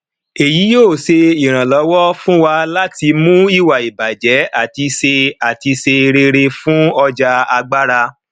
èyí yóò ṣe ìrànlọwọ fún wa láti mú ìwà ìbàjẹ àti ṣe àti ṣe rere fún ọjà agbára